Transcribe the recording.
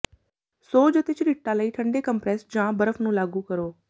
ਸੋਜ ਅਤੇ ਝਰੀਟਾਂ ਲਈ ਠੰਡੇ ਕੰਪਰੈੱਸ ਜਾਂ ਬਰਫ ਨੂੰ ਲਾਗੂ ਕਰੋ